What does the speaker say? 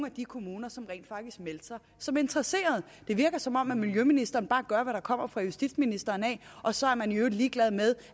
af de kommuner som rent faktisk meldte sig som interesserede det virker som om miljøministeren bare tager hvad der kommer fra justitsministeren og så er man i øvrigt ligeglad med